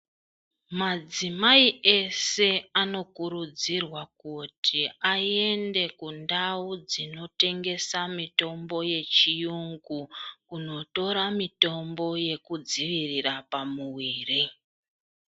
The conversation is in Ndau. Madzimai ese anokurudzirwa kuti aende kundau dzinotengesa mitombo yechiyungu kundotora mitombo yekudziira pamuviri.